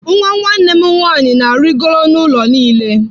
Nwa nwanne m nwanyị na-arịgoro n'ụlọ niile.